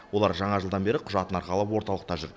олар жаңа жылдан бері құжатын арқалап орталықта жүр